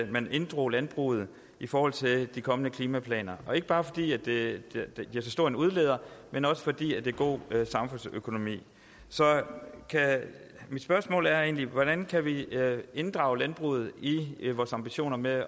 man inddrog landbruget i forhold til de kommende klimaplaner ikke bare fordi det er så stor en udleder men også fordi det er god samfundsøkonomi så mit spørgsmål er egentlig hvordan kan vi inddrage landbruget i vores ambitioner med